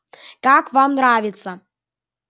как вам нравится